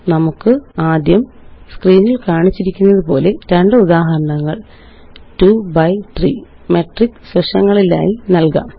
നമുക്കാദ്യംസ്ക്രീനില് കാണിച്ചിരിക്കുന്നതുപോലെ രണ്ട് ഉദാഹരണങ്ങള് 2 ബി 3 മെട്രിക്സ് വശങ്ങളിലായി നല്കാം